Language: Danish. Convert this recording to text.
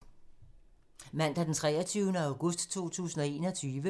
Mandag d. 23. august 2021